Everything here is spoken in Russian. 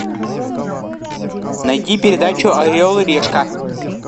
найди передачу орел и решка